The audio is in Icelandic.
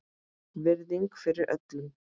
Virðing fyrir öllum.